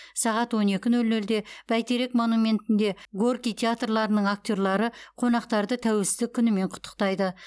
сағат он екі нөл нөлде бәйтерек монументінде горький театрларының актерлары қонақтарды тәуелсіздік күнімен құттықтайды